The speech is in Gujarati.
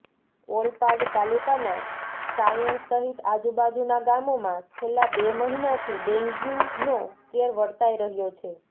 ઓલપાડ તાલુકાનાં સાયણ સહિત આજુબાજુનાં ગામોમાં છેલ્લા બે મહીનાથી ડેન્ગયુનો કેર વર્તાઈ રહ્યો છે